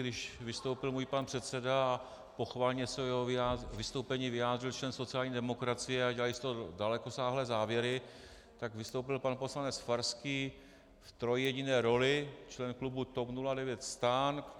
Když vystoupil můj pan předseda a pochvalně se k jeho vystoupení vyjádřil člen sociální demokracie a dělali z toho dalekosáhlé závěry, tak vystoupil pan poslanec Farský v trojjediné roli - člen klubu TOP 09, STAN.